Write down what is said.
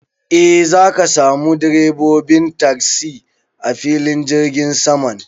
E, zaka samu direbobin tasi a filin jirgin saman.